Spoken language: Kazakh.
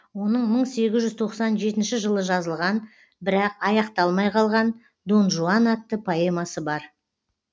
оның мың сегіз жүз тоқсан жетінші жылы жазылған бірақ аяқталмай қалған дон жуан атты поэмасы бар